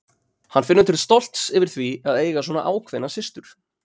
Hann finnur til stolts yfir því að eiga svona ákveðna systur.